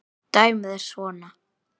Dæmið er svona